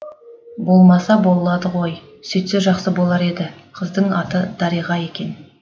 болмаса болады ғой сүйтсе жақсы болар еді қыздың аты дариға екен